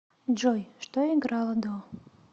джой что играло до